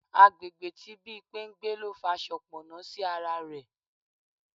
Àgbègbè tí Bimpe ń gbé ló fa soponna sí ara rẹ̀.